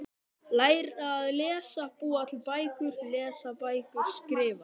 Læra að lesa- búa til bækur- lesa bækur- skrifa